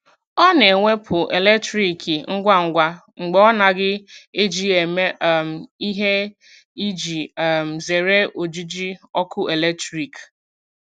Ọ na-ewepụ eletriki ngwa ngwa mgbe a naghị eji ya eme um ihe iji um zere ojiji ọkụ eletrik.